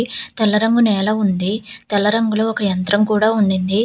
తెల్ల రంగు నేల ఉంది తెల్ల రంగులో ఒక యంత్రం కూడా ఉనింది.